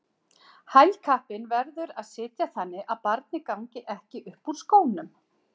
Hælkappinn verður að sitja þannig að barnið gangi ekki upp úr skónum.